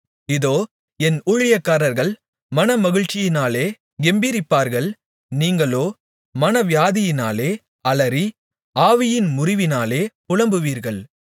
இதோ என் ஊழியக்காரர்கள் மனமகிழ்ச்சியினாலே கெம்பீரிப்பார்கள் நீங்களோ மனவியாதியினாலே அலறி ஆவியின் முறிவினாலே புலம்புவீர்கள்